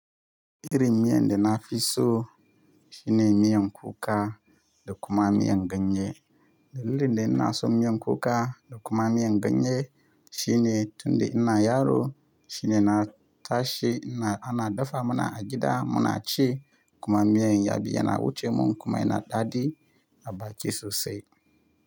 Irin miyan da na fi so shine miyan kuka da kuma miyan ganye. Dalilin da inaso miyan kuka da kuma miyan ganye shine tun da ina yaro shine na tashi ana dafa muna a gida muna ci kuma miyan ya biya na wuce mun kuma yana daɗi a bacci sosai.